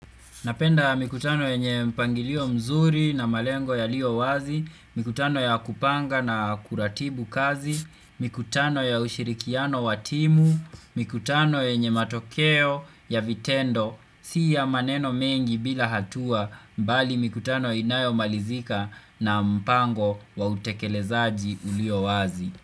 Napenda mikutano yenye mpangilio mzuri na malengo yalio wazi, mikutano ya kupanga na kuratibu kazi, mikutano ya ushirikiano wa timu, mikutano yenye matokeo ya vitendo, si ya maneno mengi bila hatua mbali mikutano inayomalizika na mpango wa utekelezaji ulio wazi.